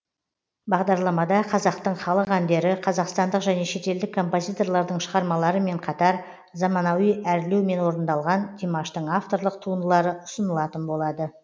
бағдарламада қазақтың халық әндері қазақстандық және шетелдік композиторлардың шығармаларымен қатар заманауи әрлеумен орындалған димаштың авторлық туындылары ұсынылатын болады